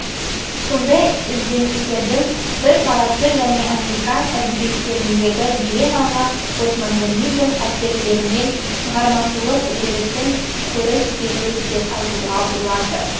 сондай ізденістердің бір парасы және американ әдебиеттеріндегі белең алған постмодернизм әсерлерімен шығармашылық үдерістің көріс беруі деп айтуға болады